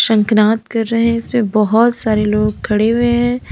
शंखनाद कर रहे इसमें बहुत सारे लोग खड़े हुए हैं।